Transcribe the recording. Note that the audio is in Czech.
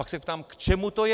Tak se ptám, k čemu to je.